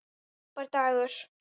Frábær dagur.